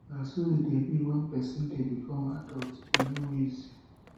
na so e dey be wen person dey become adult e no no easy